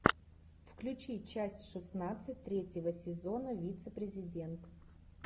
включи часть шестнадцать третьего сезона вице президент